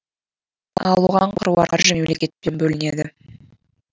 ал оған қыруар қаржы мемлекеттен бөлінеді